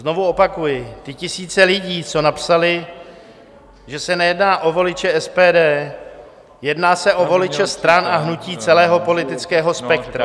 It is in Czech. Znovu opakuji, ty tisíce lidí, co napsaly, že se nejedná o voliče SPD, jedná se o voliče stran a hnutí celého politického spektra.